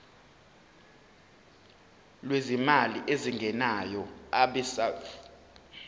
lwezimali ezingenayo abesouth